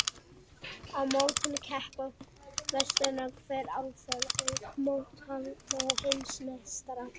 Á mótinu keppa meistarar hverrar álfu, auk mótshaldara og heimsmeistara.